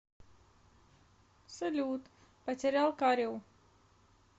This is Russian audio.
салют потерял кариу